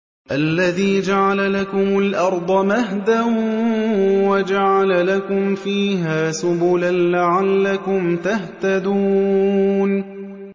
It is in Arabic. الَّذِي جَعَلَ لَكُمُ الْأَرْضَ مَهْدًا وَجَعَلَ لَكُمْ فِيهَا سُبُلًا لَّعَلَّكُمْ تَهْتَدُونَ